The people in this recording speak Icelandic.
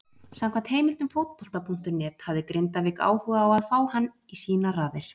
Samkvæmt heimildum Fótbolta.net hafði Grindavík áhuga á að fá hann í sínar raðir.